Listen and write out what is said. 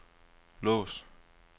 lås